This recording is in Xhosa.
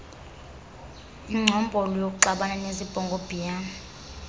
ingcombolo yokuxabana nezibhongobhiyane